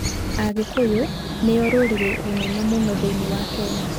Agĩkũyũ nĩo rũrĩrĩ rũnene mũno thĩinĩ wa Kenya.